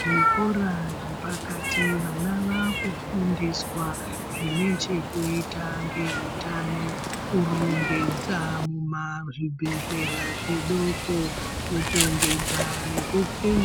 Zvikora zvepakati vana vaakufundiswa zvinochekuita neutano kurongedza muma zvibhehlera zvidoko